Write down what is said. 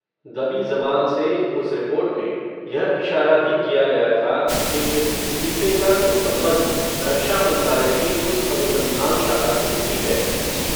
दबी ज़बान से, उस रिपोर्ट में, यह इशारा भी किया गया था, कि इस इस्तीफ़े का कुछ सम्बन्ध, रक्षा मन्त्रालय की उस अनुसन्धान शाला से भी है